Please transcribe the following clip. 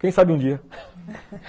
Quem sabe um dia